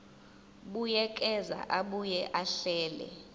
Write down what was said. buyekeza abuye ahlele